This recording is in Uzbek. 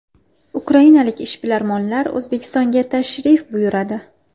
Ukrainalik ishbilarmonlar O‘zbekistonga tashrif buyuradi.